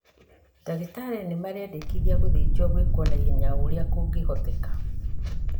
Ndagĩtarĩ nĩmarendekithia gũthinjwo gwĩkwo naihenya o ũrĩa kũngĩhoteteka